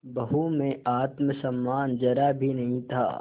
बहू में आत्म सम्मान जरा भी नहीं था